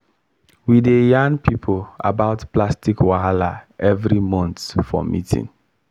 we dey yarn people about plastic wahala every month for meeting